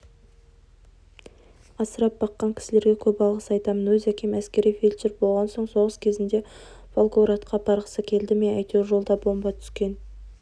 асырап баққан кісілерге көп алғыс айтамын өз әкем әскери фельдшер болған соғыс кезінде волгоградқа апарғысы келді ме әйтеуір жолда бомба түскен